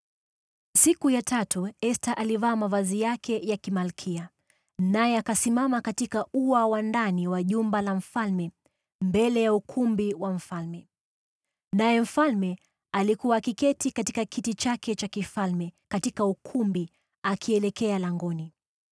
Siku ya tatu, Esta alivaa mavazi yake ya kimalkia, naye akasimama katika ua wa ndani wa jumba la mfalme, mbele ya ukumbi wa mfalme. Naye mfalme alikuwa akiketi katika kiti chake cha kifalme katika ukumbi, akielekea langoni.